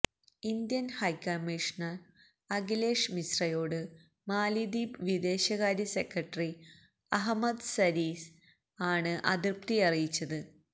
Indian high commissioner Akhilesh മിശ്രയോട് മാലിദ്വീപ് വിദേശകാര്യ secretary Ahmed Sareer ആണ് അതൃപ്തിയറിയിച്ചത്